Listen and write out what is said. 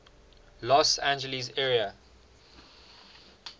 los angeles area